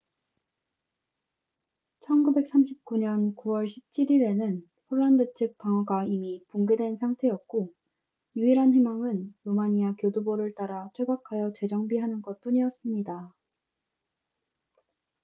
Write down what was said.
1939년 9월 17일에는 폴란드 측 방어가 이미 붕괴된 상태였고 유일한 희망은 루마니아 교두보를 따라 퇴각하여 재정비하는 것뿐이었습니다